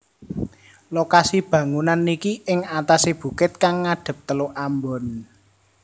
Lokasi bangunan niki ing atase bukit kang ngadep Teluk Ambon